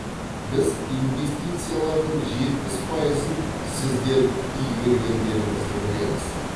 біз инвестициялардың жетпіс пайызын сіздер игергендеріңізді білеміз